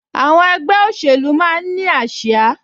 Àwọn ẹgbẹ́ òṣèlú máa ń ní ásíá